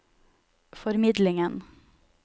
formidlingen